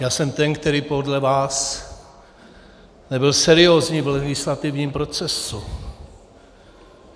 Já jsem ten, který podle vás nebyl seriózní v legislativním procesu.